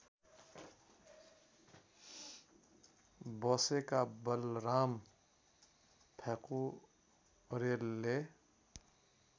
बसेका बलराम प्याकुरेलले